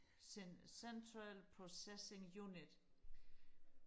central processing unit